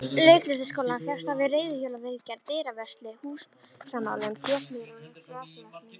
Leiklistarskólann fékkst hann við reiðhjólaviðgerðir, dyravörslu, húsamálun, trésmíðar og grasalækningar.